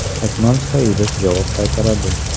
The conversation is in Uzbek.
Akmal Saidov javob qaytaradi.